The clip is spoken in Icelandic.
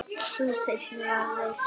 Sú seinni var reist